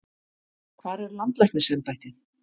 Hvar er landlæknisembættið?